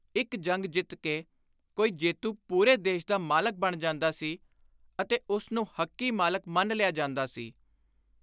ਇਕ ਜੰਗ ਜਿੱਤ ਕੇ ਕੋਈ ਜੇਤੂ ਪੁਰੇ ਦੇਸ਼ ਦਾ ਮਾਲਕ ਬਣ ਜਾਂਦਾ ਸੀ ਅਤੇ ਉਸ ਨੂੰ ਹੱਕੀ ਮਾਲਕ ਮੰਨ ਲਿਆ ਜਾਂਦਾ ਸੀ।